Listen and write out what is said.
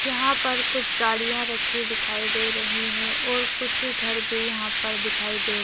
यहाँ पर कुछ गाड़ियाँ रखी दिखाई दे रही है और कुछ घर भी यहाँ पर दिखाई दे --